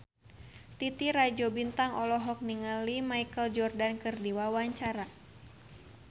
Titi Rajo Bintang olohok ningali Michael Jordan keur diwawancara